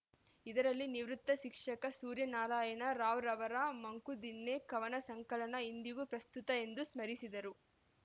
ಇದರಲ್ಲಿ ನಿವೃತ್ತ ಶಿಕ್ಷಕ ಸೂರ್ಯನಾರಾಯಣ ರಾವ್‌ರವರ ಮಂಕುದಿಣ್ಣೆ ಕವನಸಂಕಲನ ಇಂದಿಗೂ ಪ್ರಸ್ತುತ ಎಂದು ಸ್ಮರಿಸಿದರು